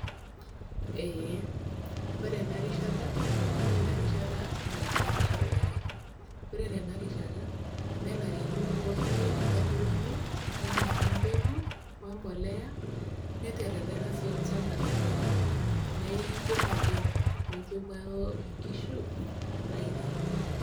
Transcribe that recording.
Eeh, kore ena rishata naa ina rishata netaa pee esha olari. Ore tena rishata nenarikino pooki aturoni neinyang'ua embeku, we mbolea neteretena sii olchamba lenye neiken oleng' mincho ewuo inkishu ainyal.